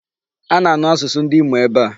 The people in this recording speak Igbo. A na-anu asụsụ ndị Imo ebe a.